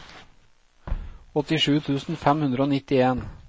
åttisju tusen fem hundre og nittien